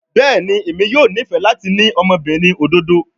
Bẹẹni, Emi yoo nifẹ lati ni ọmọbirin ododo